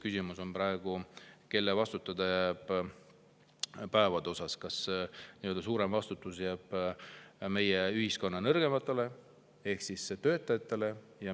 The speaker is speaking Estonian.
Küsimus on praegu, kelle vastutada jääb päevade ja kas suurem vastutus jääb meie ühiskonna nõrgematele ehk töötajatele.